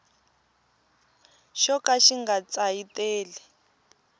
xo ka xi nga tsayiteli